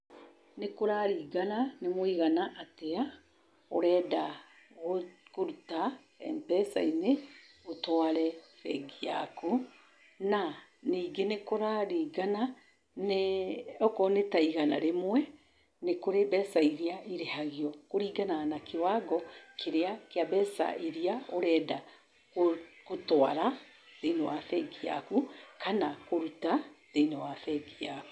Nĩ kũraringana nĩ mũigana atĩa ũrenda kũruta MPESA-inĩ ũtware bengi yaku. Na ningĩ nĩ kũraringana na, okorwo nĩ ta igana rĩmwe, nĩ kũrĩ mbeca iria irĩhagio. Kũringanaga na kĩwango kĩrĩa kĩa mbeca iria ũrenda kũtwara thiĩnĩ wa bengi yaku kana kũruta thĩinĩ wa bengi yaku.